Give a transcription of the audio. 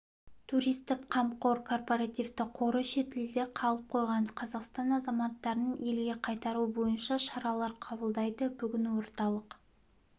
туристік қамқор корпоративтік қоры шетелде қалып қойған қазақстан азаматтарын елге қайтару бойынша шаралар қабылдайды бүгін орталық